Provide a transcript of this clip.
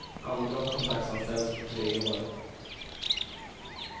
Andra har kontraktsanställts på tre år.